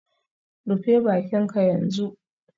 Rufe bakinka yanzu